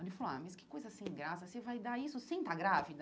Aí ele falou, ah, mas que coisa sem graça, você vai dar isso sem estar grávida?